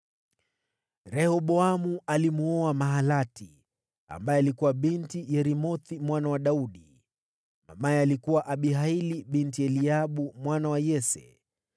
Rehoboamu alimwoa Mahalati ambaye alikuwa binti Yeremothi mwana wa Daudi, mamaye alikuwa Abihaili binti Eliabu mwana wa Yese.